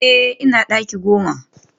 Eh ina daki goma